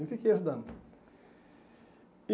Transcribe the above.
E fiquei ajudando. E